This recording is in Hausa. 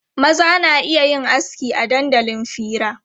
Maza na iya yin aski a dandalin fira.